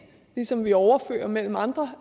ligesom vi overfører mellem andre